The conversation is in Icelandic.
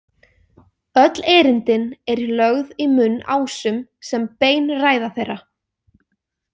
Öll erindin eru lögð í munn Ásum sem bein ræða þeirra.